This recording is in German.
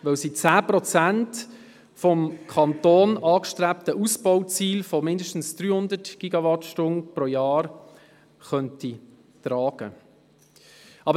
Dies, weil sie 10 Prozent des vom Kanton angestrebten Ausbauziels von mindestens 300 GWh pro Jahr tragen könnte.